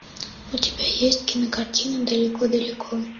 у тебя есть кинокартина далеко далеко